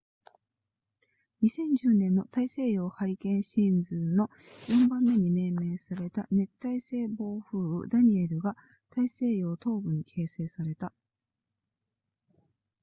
2010年の大西洋ハリケーンシーズンの4番目に命名された熱帯性暴風雨ダニエルが大西洋東部に形成された